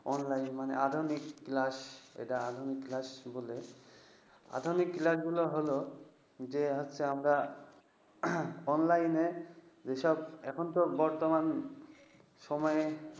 online মানে আধুনিক class । আধুনিক class গুলো হল যে হচ্ছে আমরা online যেসব এখন তো বর্তমান সময়ে